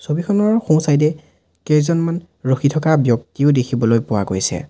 ছবিখনৰ সোঁ চাইড এ কেইজনমান ৰখি থকা ব্যক্তিও দেখিবলৈ পোৱা গৈছে।